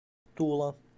тула